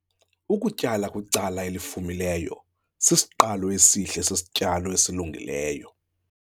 Ukutyala kwicala elifumileyo sisiqalo esihle sesityalo esilungileyo.